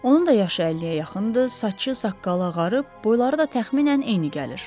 Onun da yaşı 50-yə yaxındır, saçı, saqqalı ağarıb, boyları da təxminən eyni gəlir.